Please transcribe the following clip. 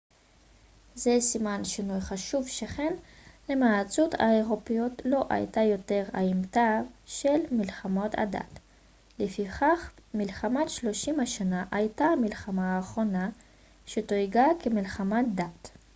זה סימן שינוי חשוב שכן למעצמות האירופיות לא הייתה יותר האמתלה של מלחמות הדת לפיכך מלחמת שלושים השנה הייתה המלחמה האחרונה שתויגה כמלחמת דת